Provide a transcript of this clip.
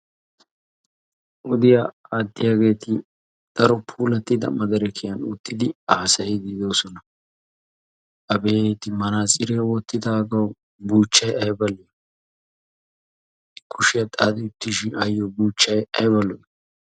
Wodiya aatiyageeti daro puulattida madirekiyan uttidi haasayiidi de'oosona. Abeeti manatsiriyaa wottidaagawu buuchchay ayba lo"i! Kushshiya xaaxxi uttiishin ayo buuchchay ayba lo"i!